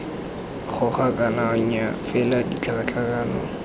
goga kana nnyaa fela tlhakatlhakano